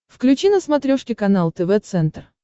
включи на смотрешке канал тв центр